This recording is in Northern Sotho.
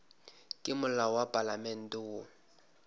ke molao wa palamente wo